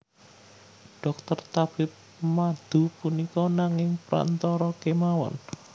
Dhokter tabib madu punika nanging prantara kemawon